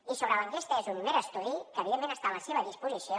i sobre l’enquesta és un mer estudi que evidentment està a la seva disposició